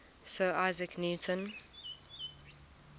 sir isaac newton